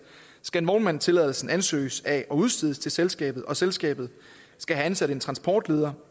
skal vognmandstilladelsen ansøges af og udstedes til selskabet og selskabet skal have ansat en transportleder